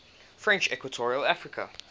french equatorial africa